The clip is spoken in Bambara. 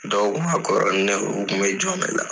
Dɔw kun ka kɔrɔ ni ne ye o kun bɛ jɔn ne la.